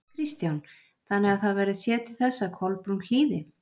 Kristján: Þannig að það verður séð til þess að Kolbrún hlýði?